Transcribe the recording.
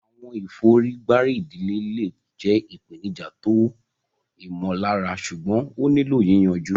Àwọn ìfọ̀rígbárí ìdílé le jẹ́ ìpèníjà tó ìmọ̀lára ṣùgbọ́n ó nílò yìyànju.